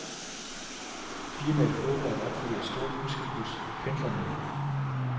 Firmaet håber at opfylde et stort ønske hos pendlerne.